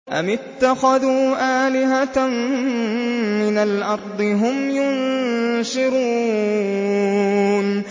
أَمِ اتَّخَذُوا آلِهَةً مِّنَ الْأَرْضِ هُمْ يُنشِرُونَ